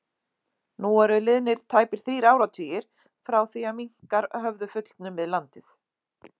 Nú eru liðnir tæpir þrír áratugir frá því minkar höfðu fullnumið landið.